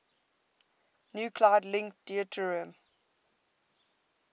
nuclide link deuterium